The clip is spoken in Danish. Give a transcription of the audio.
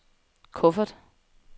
kuffert